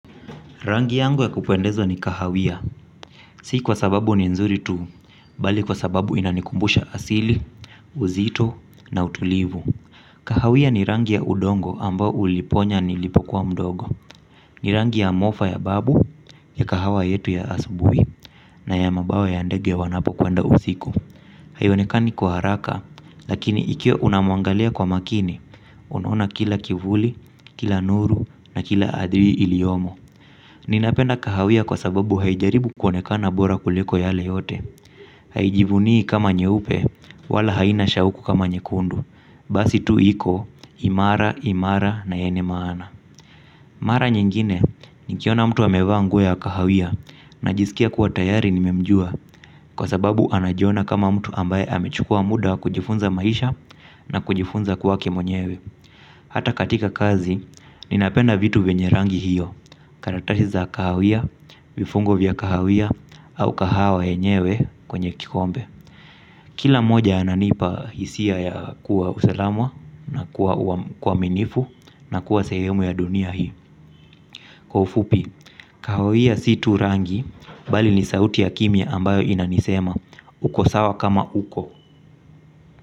Rangi yangu ya kupundezwa ni kahawia, si kwa sababu ni nzuri tu, bali kwa sababu inanikumbusha asili, uzito na utulivu. Kahawia ni rangi ya udongo ambao uliponya nilipokuwa mdogo, ni rangi ya mofa ya babu, ya kahawa yetu ya asubuhi, na ya mabawa ya ndege wanapokwenda usiku. Haionekani kwa haraka, lakini ikiwa unamwangalia kwa makini, unaona kila kivuli, kila nuru na kila adhiri iliyomo. Ninapenda kahawia kwa sababu haijaribu kuonekana bora kuliko yale yote. Haijivunii kama nyeupe wala haina shauku kama nyekundu. Basi tu iko imara, imara na yenye maana. Mara nyingine nikiona mtu amevaa nguo ya kahawia najisikia kuwa tayari nimemjua kwa sababu anajiona kama mtu ambaye amechukua muda kujifunza maisha na kujifunza kuwa kimwenyewe. Hata katika kazi ninapenda vitu vyenye rangi hiyo. Karatasi za kahawia, vifungo vya kahawia, au kahawa yenyewe kwenye kikombe kila mmoja ananipa hisia ya kuwa usalama, na kuwa uaminifu na kuwa sehemu ya dunia hii. Kwa ufupi, kahawia si tu rangi bali ni sauti ya kimya ambayo inanisema uko sawa kama uko.